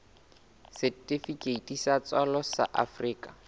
setifikeiti sa tswalo sa afrika